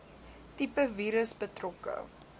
tipe virus betrokke